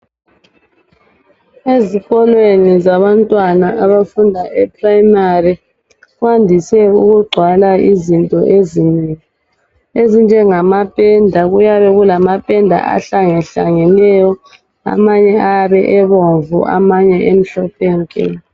Ezikolweni zabantwana abafunda eprimary kwandise ukugcwala izinto ezinengi ezinjengama penda kuyabe kulamapenda ahlange hlangeneyo amanye ayabe ebomvu amanye emhlophe nke.